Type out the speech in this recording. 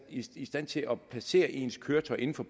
i stand til at placere ens køretøj inden for